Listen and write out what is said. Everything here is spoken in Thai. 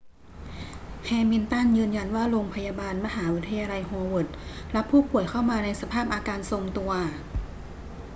แฮมิลตันยืนยันว่าโรงพยาบาลมหาวิทยาลัยโฮเวิร์ดรับผู้ป่วยเข้ามาในสภาพอาการทรงตัว